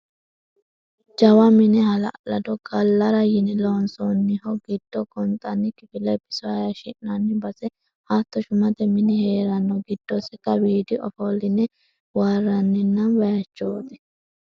Jawa mine hala'lado gallara yine loonsonniho giddoni gonxanni kifile biso hayishshinani base hatto shumate mini heerano giddosi kawidi ofoline waarinanni bayichoti.